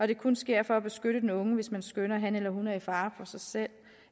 det kun sker for at beskytte den unge hvis man skønner at han eller hun er til fare for sig selv